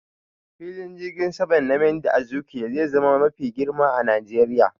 Filin jirgin saman Nnamdi Azikiwe zai zama mafi girma a Najeriya